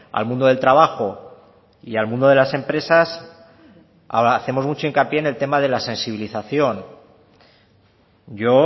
al mundo del trabajo y al mundo de las empresas hacemos mucho hincapié al tema de la sensibilización yo